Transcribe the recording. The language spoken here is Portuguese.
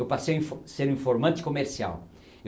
Eu passei info, ser um informante comercial.